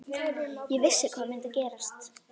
Ég vissi hvað myndi gerast.